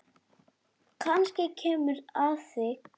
Kannski kemur að því.